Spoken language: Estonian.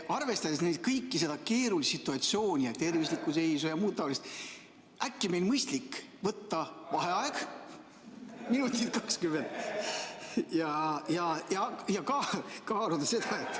Arvestades kõike, seda keerulist situatsiooni ja tervislikku seisu ja muud taolist, äkki meil on mõistlik võtta vaheaeg minutit 20 ja kaaluda seda, et ...